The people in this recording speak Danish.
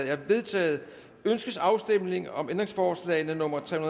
er vedtaget ønskes afstemning om ændringsforslag nummer tre